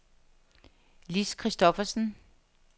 Lis Christophersen